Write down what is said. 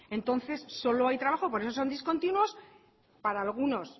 entonces solo hay trabajo por eso son discontinuos para algunos